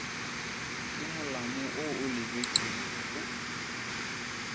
ke molamo wo o lebetšwego